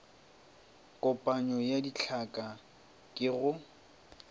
kopanyo ya ditlhaka ke go